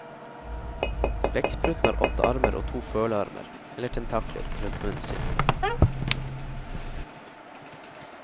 Blekkspruten har åtte armer og to følearmer, eller tentakler, rundt munnen sin.